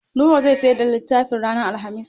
Nura zai siyar da littafin ranar Alhamis.